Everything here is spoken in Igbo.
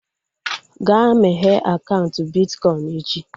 Ga meghee akaụntụ bitkọin echi!